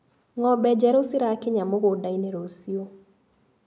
Ngombe njerũ cĩrakinya mũgũndainĩ rũciũ.